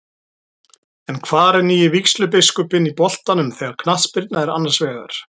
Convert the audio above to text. En hvar er nýi vígslubiskupinn í boltanum þegar knattspyrna er annars vegar?